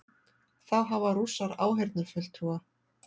Þá hafa Rússar áheyrnarfulltrúa